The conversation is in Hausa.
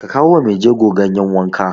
Ka kawo wa maijego ganyen wanka!